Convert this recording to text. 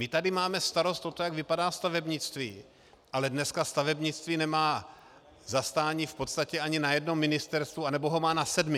My tady máme starost o to, jak vypadá stavebnictví, ale dneska stavebnictví nemá zastání v podstatě ani na jednom ministerstvu, anebo ho má na sedmi.